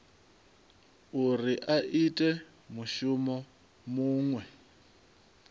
uri a ite mushumo muṅwe